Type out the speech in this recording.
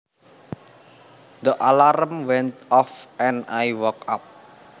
The alarm went off and I woke up